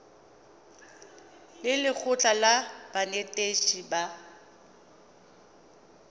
le lekgotlha la banetetshi ba